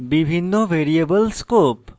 বিভিন্ন variable scopes